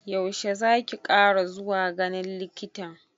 Yaushe zaki kara zuwa ganin likitan?